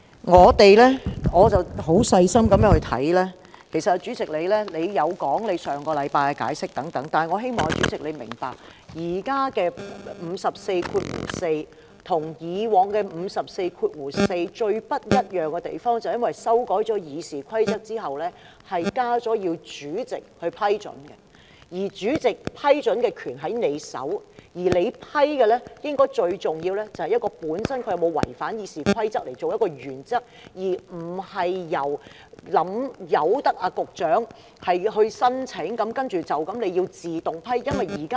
我十分細心的閱讀，其實主席有就上星期的做法作解釋，但我希望主席明白，現在的《議事規則》第544條跟以往《議事規則》第544條最不一樣的地方，便是因為修改《議事規則》之後，加入"需要主席的批准"，"主席批准"的權力在主席手上，而主席批准時最重要的一點，是以議案它本身有否違反《議事規則》作原則，而不是任由局長提出申請，然後便自動獲批准。